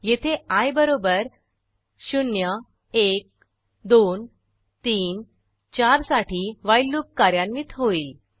येथे आय बरोबर 0 1 2 3 4 साठी व्हाईल लूप कार्यान्वित होईल